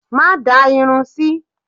Má da irun sí!